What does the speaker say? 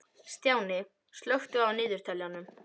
Stjáni, slökktu á niðurteljaranum.